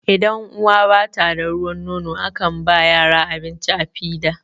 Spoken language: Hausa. idan uwa bata da ruwan nono a kan ba yara abinci da fida